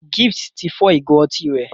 Gift tí fọ Ìgò otí rẹ.